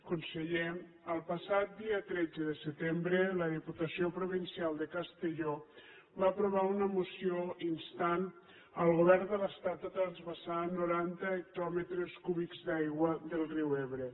conseller el passat dia tretze de setembre la diputació provincial de castelló va aprovar una moció que instava el govern de l’estat a transvasar noranta hectòmetres cúbics d’aigua del riu ebre